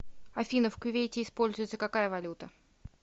афина в кувейте используется какая валюта